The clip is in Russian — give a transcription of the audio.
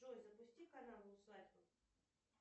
джой запусти канал усадьба